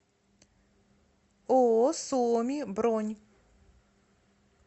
ооо суоми бронь